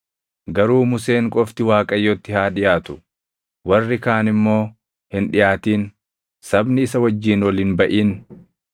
garuu Museen qofti Waaqayyotti haa dhiʼaatu; warri kaan immoo hin dhiʼaatin. Sabni isa wajjin ol hin baʼin.”